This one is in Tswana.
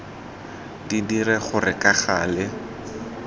di dire gore ka gale